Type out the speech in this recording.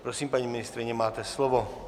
Prosím, paní ministryně, máte slovo.